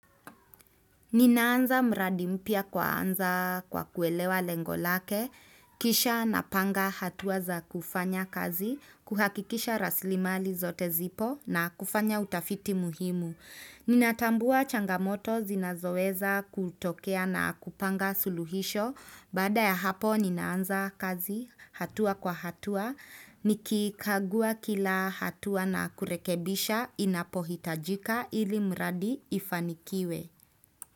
Ninaanza mradi mpya kwaanza kwa kuelewa lengo lake, kisha na panga hatua za kufanya kazi, kuhakikisha rasilimali zote zipo na kufanya utafiti muhimu. Nina tambua changamoto zinazoweza kutokea na kupanga suluhisho, baada ya hapo ninaanza kazi hatua kwa hatua, nikikagua kila hatua na kurekebisha inapohitajika ili mradi ifanikiwe.